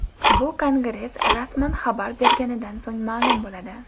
Bu Kongress rasman xabar berganidan so‘ng ma’lum bo‘ladi.